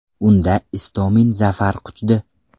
Unda Istomin zafar quchdi.